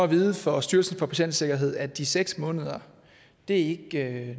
vide fra styrelsen for patientsikkerhed at de seks måneder ikke